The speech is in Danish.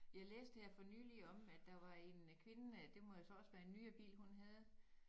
Ja læste her for nyligt om at der var en kvinde det må så også være en nyere bil hun havde